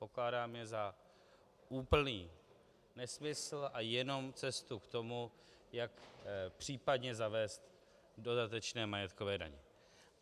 Pokládám je za úplný nesmysl a jenom cestu k tomu, jak případně zavést dodatečné majetkové daně.